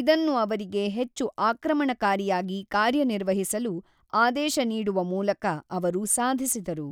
ಇದನ್ನು ಅವರಿಗೆ ಹೆಚ್ಚು ಆಕ್ರಮಣಕಾರಿಯಾಗಿ ಕಾರ್ಯನಿರ್ವಹಿಸಲು ಆದೇಶ ನೀಡುವ ಮೂಲಕ ಅವರು ಸಾಧಿಸಿದರು.